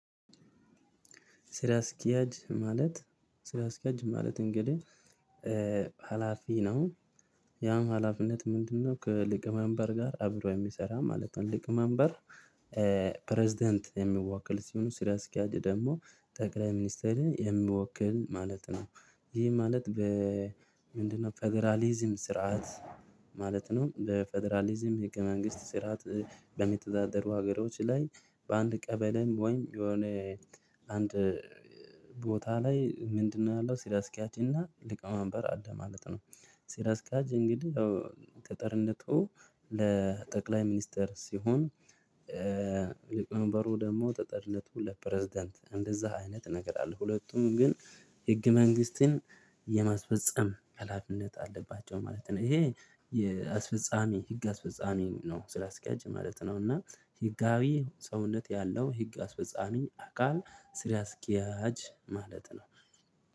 ስራ አስኪያጂ ማለት እንግዲህ ሀላፊ ነው። ያም ሀላፊነት ምንድነው? ከሊቀ መንበር ጋር አብሮ የሚሰራ ማለት ነው። ሊቀ መንበር። ፕሬዝዳንት የሚወክል ሲሆን ስራ አስኪያጂ ደግሞ ጠቅላይ ሚኒስቴርን የሚወክል ማለት ነው። ይሄ ማለት በምንድነው? ፌደራሊዝም ስርዓት ማለት ነው። በፌደራሊዝም ህገ መንግስት ስርዓት። በሚተዳደሩ ሀገሮች ላይ በአንድ ቀበሌም ወይም የሆነ አንድ ቦታ ላይ ምንድነው? ያለው ስራ አስኪያጅ እና ሊቀመንበር አለ ማለት ነው። ስራአስኪያጅ እንግዲህ ተጠሪነቱ ለጠቅላይ ሚኒስተር ሲሆን። ሊቀነበሩ ደግሞ ጠጠለቱ ለፕሬዝዳንት እንደዛ አይነት እነገር አለ። ሁለቱም ግን ህግ መንግስትን የማስፈጸም ህላፊነት አለባቸው ማለት ነው። ይሄ የአስፈጻሚ ህግ አስፈጻሚ ነው ስራ አስኪያጅ ማለት ነው። እና ህጋዊ ሰውነት ያለው ህግ አስፈጻሚ አካል ስራ ስኪያጅ ማለት ነው።